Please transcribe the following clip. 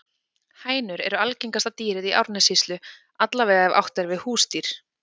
Hænur eru algengasta dýrið í Árnessýslu, alla vega ef átt er við húsdýr.